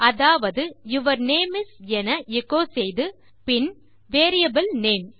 அதாவது your name is என எச்சோ செய்து பின் வேரியபிள் நேம்